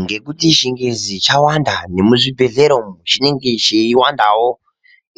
Ngekuti chingezi chawanda nemuzvibhedhleya umu chinenge cheiwandawo